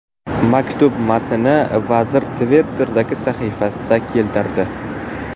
Maktub matnini vazir Twitter’dagi sahifasida keltirdi.